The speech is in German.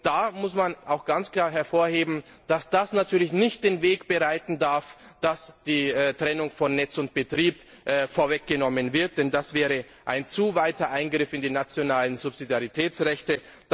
Da muss man auch ganz klar hervorheben, dass das natürlich nicht den Weg dafür bereiten darf, dass die Trennung von Netz und Betrieb vorweggenommen wird, denn das wäre ein zu starker Eingriff in die nationalen Subsidiaritätsrechte.